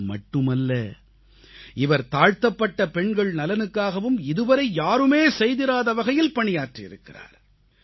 இது மட்டுமல்ல இவர் தாழ்த்தப்பட்ட பெண்கள் நலனுக்காகவும் இதுவரை யாருமே செய்திராத வகையில் பணியாற்றியிருக்கிறார்